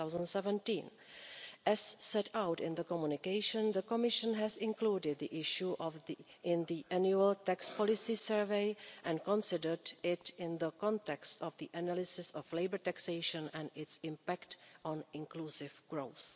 2017. As set out in the Communication, the Commission has included the issue in the annual tax policy survey and considered it in the context of the analysis of labour taxation and its impact on inclusive growth.